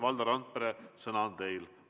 Valdo Randpere, sõna on teil.